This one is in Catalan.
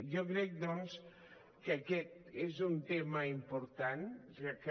jo crec doncs que aquest és un tema important ja que